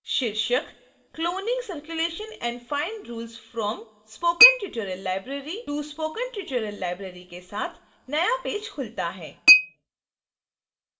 शीर्षक cloning circulation and fine rules from spoken tutorial library to spoken tutorial library के साथ नया page खुलता है